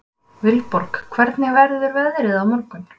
Vilborg, hvernig verður veðrið á morgun?